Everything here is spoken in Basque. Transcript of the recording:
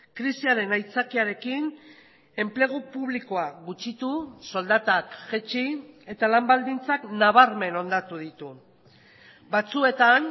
krisiaren aitzakiarekin enplegu publikoa gutxitu soldatak jaitsi eta lan baldintzak nabarmen hondatu ditu batzuetan